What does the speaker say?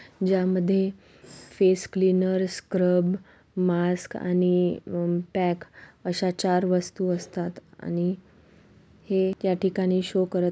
ज्यामध्ये face cleaners scrub mask आणि अ पॅक अशा चार वस्तु असतात आणि हे या ठिकाणी शो करत--